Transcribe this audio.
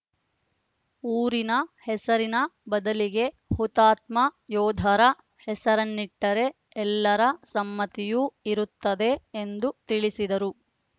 ಊರಿನ ಹೆಸರಿನ ಬದಲಿಗೆ ಹುತಾತ್ಮ ಯೋಧರ ಹೆಸರನ್ನಿಟ್ಟರೆ ಎಲ್ಲರ ಸಮ್ಮತಿಯೂ ಇರುತ್ತದೆ ಎಂದು ತಿಳಿಸಿದರು